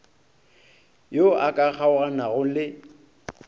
yo a ka kgaoganago le